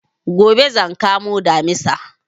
Gobe zan kamo Damisa